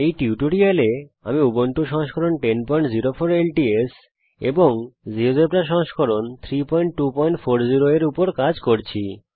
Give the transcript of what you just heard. এই টিউটোরিয়াল এ আমি উবুন্টু সংস্করণ 1004 ল্টস এবং জীয়োজেব্রা সংস্করণ 3240 এর উপর কাজ করছি